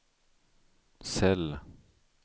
cell